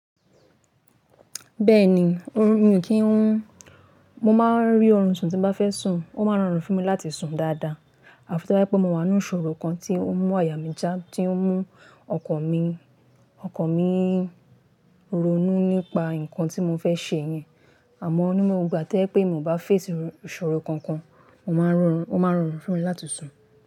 Bẹ́ẹ̀ni, ó rùn mi o kí n, mo máa rí orun sùn tí bá fẹ́ sùn, ó máa rọrùn fún mi láti sùn dáadáa. Àfi to bá jẹ́ pé mo wà nínú ìṣòro kan tí ń mú àyà mí já, tí ó ń mú ọkàn mi, ọkàn mi ronú nípa nǹkan tí mo fẹ́ ṣe yẹn. Àmọ́, ní gbogbo ìgbà to jẹ́ pé mi ò bá fèsì ìṣòro kankan, ó máa rọrùn, ó máa rọrùn fún mi láti sùn.